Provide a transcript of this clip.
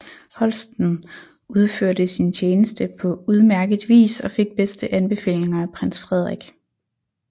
Holsten udførte sin tjeneste på udmærket vis og fik bedste anbefalinger af prins Frederik